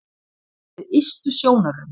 Bak við ystu sjónarrönd